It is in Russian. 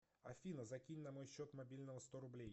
афина закинь на мой счет мобильного сто рублей